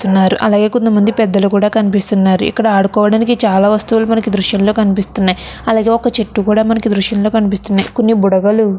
అలాగే కొంతమంది పెద్దలు కూడా కనిపిస్తూ ఉన్నారు ఇక్కడ ఆడుకోవడానికి చాలా వస్తువులు మనకు ఈ దృశ్యంలో కనిపిస్తున్నాయి అలాగే ఒక చెట్టు కూడా మనకి దృశ్యం లో కనిపిస్తున్నాయి కొన్ని బుడగలు --